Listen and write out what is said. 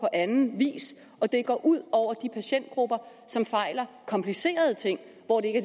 anden vis og det går ud over de patientgrupper som fejler komplicerede ting og hvor det ikke